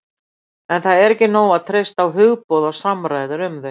En það er ekki nóg að treysta á hugboð og samræður um þau.